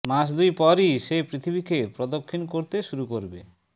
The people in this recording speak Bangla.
মাস দুই পরই সে পৃথিবীকে প্রদক্ষিণ করতে শুরু করবে